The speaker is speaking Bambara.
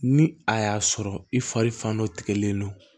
Ni a y'a sɔrɔ i fari fan dɔ tigɛlen don